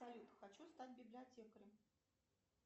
салют хочу стать библиотекарем